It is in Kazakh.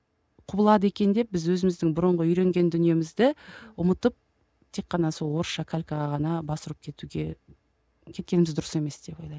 құбылады екен деп біз өзіміздің бұрынғы үйренген дүниемізді ұмытып тек қана сол орысша калькаға ғана бас ұрып кетуге кеткеніміз дұрыс емес деп ойлаймын